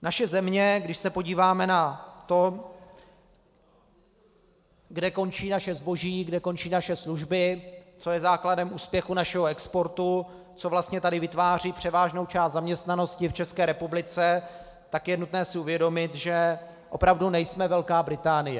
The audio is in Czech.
Naše země, když se podíváme na to, kde končí naše zboží, kde končí naše služby, co je základem úspěchu našeho exportu, co vlastně tady vytváří převážnou část zaměstnanosti v České republice, tak je nutné si uvědomit, že opravdu nejsme Velká Británie.